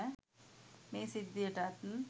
මේ සිද්ධියටත්.